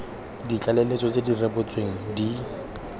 ditlaleletso tse di rebotsweng di